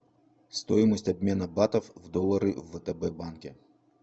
стоимость обмена батов в доллары в втб банке